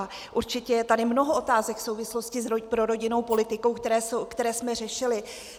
A určitě je tady mnoho otázek v souvislosti s prorodinnou politikou, které jsme řešili.